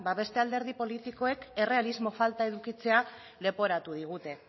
ba beste alderdi politikoek errealismo falta edukitzea leporatu digute